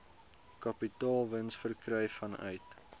kapitaalwins verkry vanuit